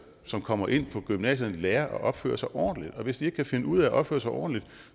som kommer ind på gymnasierne lærer at opføre sig ordentligt og hvis de ikke kan finde ud af at opføre sig ordentligt